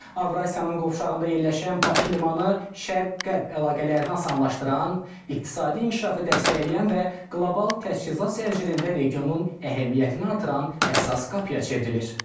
Avrasiyanın qovşağında yerləşən Bakı limanı şərq-qərb əlaqələrini asanlaşdıran, iqtisadi inkişafı dəstəkləyən və qlobal təchizat zəncirində regionun əhəmiyyətini artıran əsas qapıya çevrilir.